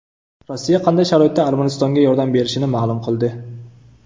Rossiya qanday sharoitda Armanistonga yordam berishini ma’lum qildi.